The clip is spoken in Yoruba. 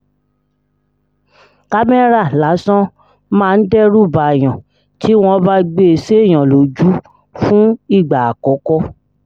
kámẹ́rà lásán máa ń dẹ́rù báàyàn tí wọ́n bá gbé e séèyàn lójú fún ìgbà àkọ́kọ́